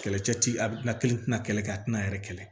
Kɛlɛcɛ ti a bilali tina kɛlɛ kɛ a tina a yɛrɛ kɛlɛ